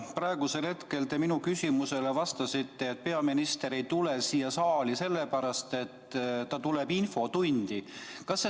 Praegusel hetkel te minu küsimusele vastasite, et peaminister ei tule siia saali sellepärast, et ta tuleb infotundi.